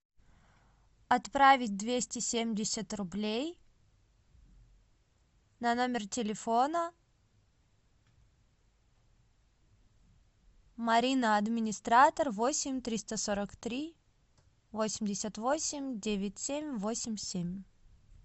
отправить двести семьдесят рублей на номер телефона марина администратор восемь триста сорок три восемьдесят восемь девять семь восемь семь